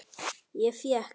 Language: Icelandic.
Ég fékk